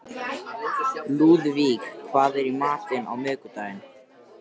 Lúðvík, hvað er í matinn á miðvikudaginn?